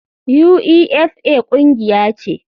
Uefa kungiya ce.